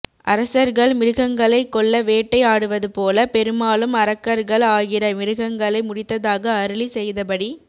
அரசர்கள் மிருகங்களை கொள்ள வேட்டை ஆடுவது போல பெருமாளும் அரக்கர்கள் ஆகிற மிருகங்களை முடித்ததாக அருளி செய்த படி